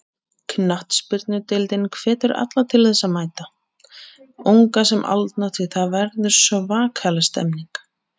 Knattspyrnudeildin hvetur alla til að mæta, unga sem aldna því það verður svakaleg stemning.